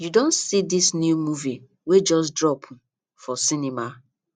you don see this new movie wey just drop um for cinema